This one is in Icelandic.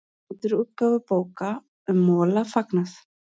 Endurútgáfu bóka um Mola fagnað